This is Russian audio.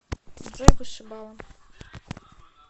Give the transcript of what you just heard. джой вышибала